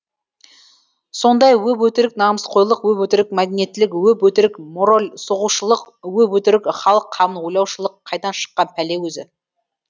сондай өп өтірік намысқойлық өп өтірік мәдениеттілік өп өтірік моральсоғушылық өп өтірік халық қамын ойлаушылық қайдан шыққан пәле өзі